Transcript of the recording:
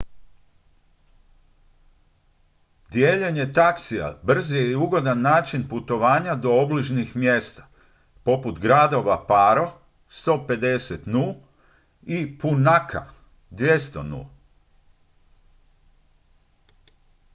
dijeljenje taksija brz je i ugodan način putovanja do obližnjih mjesta poput gradova paro 150 nu. i punakha 200 nu.